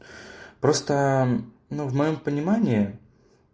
просто ну в моем понимании